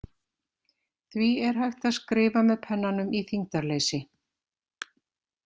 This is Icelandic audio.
Því er hægt að skrifa með pennanum í þyngdarleysi.